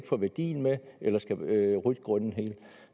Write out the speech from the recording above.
få værdien med eller skal rydde grunden helt